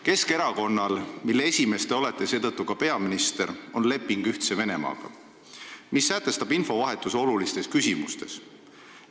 Keskerakonnal, mille esimees te olete, on Ühtse Venemaaga leping, mis sätestab infovahetuse olulistes küsimustes.